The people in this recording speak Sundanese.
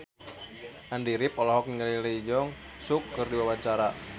Andy rif olohok ningali Lee Jeong Suk keur diwawancara